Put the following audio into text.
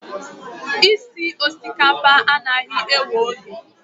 Osikapa esi esi anaghị ewe oge.